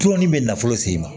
Tɔn nin bɛ nafolo sen ma